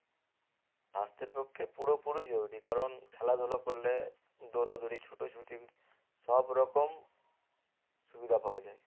স্বাস্থ্যের পক্ষে পুরোপুরি জরুরী কারণ খেলাধুলা করলে দৌড়াদৌড়ি ছুটোছুটি সব রকম সুবিধা পাওয়া যায়